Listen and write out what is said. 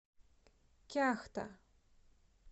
кяхта